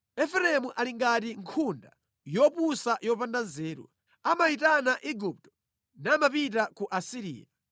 “Efereimu ali ngati nkhunda yopusa yopanda nzeru. Amayitana Igupto namapita ku Asiriya.